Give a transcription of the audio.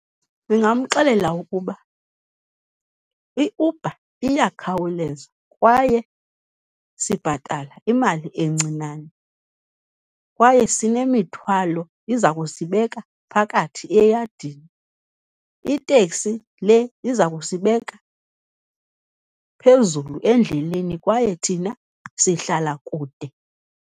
Ndingamxelela ukuba iUber iyakhawuleza kwaye sibhatala imali encinane, kwaye sinemithwalo, iza kusibeka phakathi eyadini. Iteksi le iza kusibeka phezulu endleleni, kwaye thina sihlala kude.